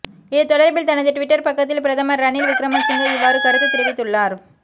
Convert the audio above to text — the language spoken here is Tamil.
இது தொடர்பில் தனது டுவிட்டர் பக்கத்தில் பிரதமர் ரணில் விக்ரமசிங்க இவ்வாறு கருத்துத் தெரிவித்துள்ளார்